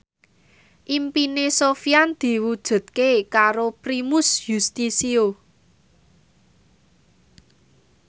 impine Sofyan diwujudke karo Primus Yustisio